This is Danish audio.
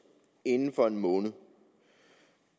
inden for en måned